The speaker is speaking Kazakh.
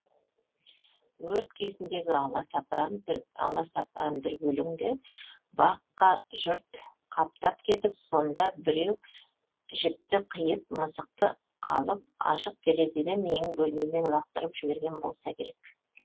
өрт кезіндегі аласапыран дүрбелеңде баққа жұрт қаптап кетіп сонда біреу жіпті қиып мысықты алып ашық терезеден менің бөлмеме лақтырып жіберген болса керек